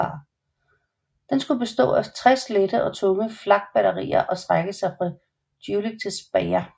Den skulle bestå af 60 lette og tunge flakbatterier og strække sig fra Jülich til Speyer